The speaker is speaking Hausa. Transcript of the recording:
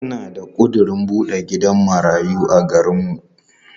Ina da ƙudirin buɗe gidan marayu a garinmu.